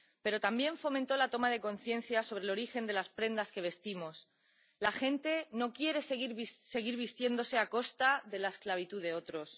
Pero también fomentó la toma de conciencia sobre el origen de las prendas que vestimos la gente no quiere seguir vistiéndose a costa de la esclavitud de otros.